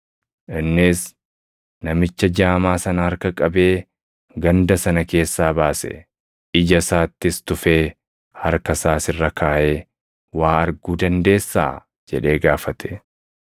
Innis namicha jaamaa sana harka qabee ganda sana keessaa baase. Ija isaattis tufee, harka isaas irra kaaʼee, “Waa arguu dandeessaa?” jedhee gaafate.